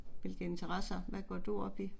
Hvilke interesser, hvad går du op i?